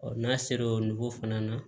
n'a sera o fana na